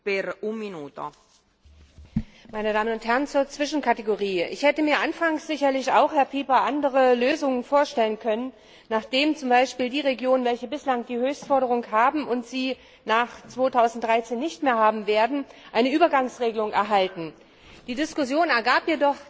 Frau Präsidentin, meine Damen und Herren! Zur Zwischenkategorie Ich hätte mir anfangs sicherlich auch, Herr Pieper, andere Lösungen vorstellen können, wonach zum Beispiel für die Regionen, welche bislang die Höchstförderung erhalten und diese nach 2013 nicht mehr bekommen werden, eine Übergangsregelung vorgesehen wird. Die Diskussion ergab jedoch, dass wir